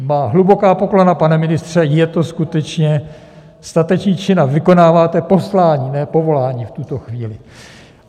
Má hluboká poklona, pane ministře, je to skutečně statečný čin a vykonáváte poslání, ne povolání v tuto chvíli.